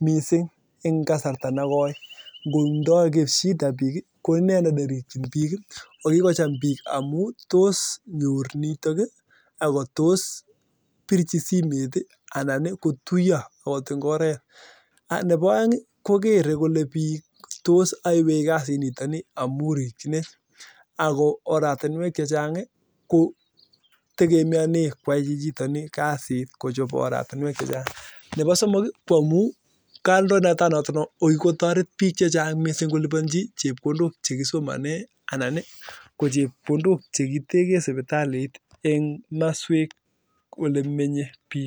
missing eng kasarata negoi tos kinyor nitok nebo aeng ii kokere bik kole ae kasit chichitok akolibanii chepkondok chekisomanee